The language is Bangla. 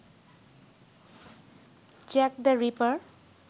Jack the reaper